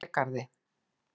Hlégarði